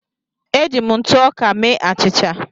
Eji m ntụ ọka mee achịcha.